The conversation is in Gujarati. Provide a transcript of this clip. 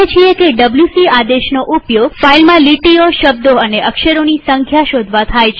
આપણે જાણીએ છીએ કે ડબ્લ્યુસી આદેશનો ઉપયોગ ફાઈલમાં લીટીઓશબ્દો અને અક્ષરોની સંખ્યા શોધવા થાય છે